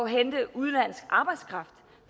hente udenlandsk arbejdskraft